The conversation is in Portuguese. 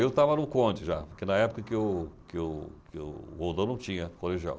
Eu estava no Conte já, porque na época que o que o que o Roldão não tinha colegial.